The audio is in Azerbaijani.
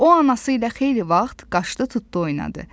O anası ilə xeyli vaxt qaçdı, tutdu oynadı.